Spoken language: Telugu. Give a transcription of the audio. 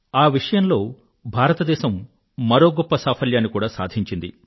ఆ విషయంలో భారతదేశం మరో గొప్ప సాఫల్యాన్ని కూడా సాధించింది